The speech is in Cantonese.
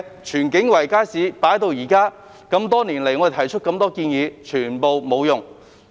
荃景圍街市已丟空多年，我們多年來提出的多項建議皆沒有用。